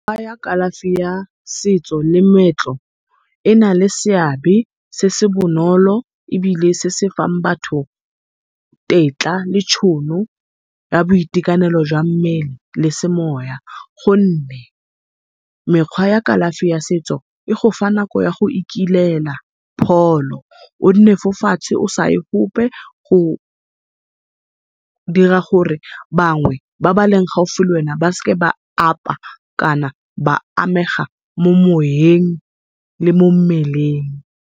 kalafi ya setso le moetlo ena le seabe se se bonolo ebile se se fang batho tetla le tšhono ya boitekanelo jwa mmele le semoya, gonne mekgwa ya kalafi ya setso e gofa nako ya go ikilela pholo, o nne fo fatshe o sae gope. Go dira gore bangwe ba baleng gaufi le wena ba seke ba apa kana ba amega mo moyeng le mo mmeleng.